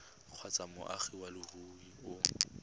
kgotsa moagi wa leruri o